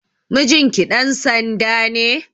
Mijinki ɗan sanda ne?